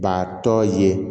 Ba tɔ ye